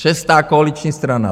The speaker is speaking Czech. Šestá koaliční strana.